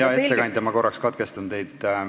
Hea ettekandja, ma korraks katkestan teid.